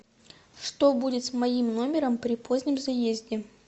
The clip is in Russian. что будет с моим номером при позднем заезде